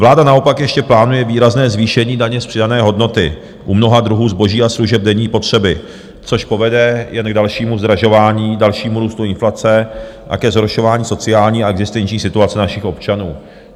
Vláda naopak ještě plánuje výrazné zvýšení daně z přidané hodnoty u mnoha druhů zboží a služeb denní potřeby, což povede jen k dalšímu zdražování, dalšímu růstu inflace a ke zhoršování sociální a existenční situace našich občanů.